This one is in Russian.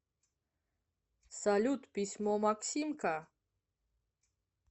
салют письмо максимка